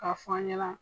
K'a fɔ an ɲɛna